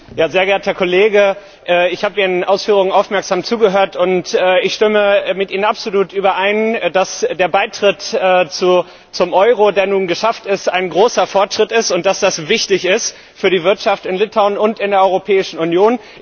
Sehr geehrter Kollege, ich habe Ihren Ausführungen aufmerksam zugehört und stimme mit Ihnen absolut überein, dass der Beitritt zum Euro, der nun geschafft ist, ein großer Fortschritt ist, und das es wichtig ist für die Wirtschaft in Litauen und in der Europäischen Union.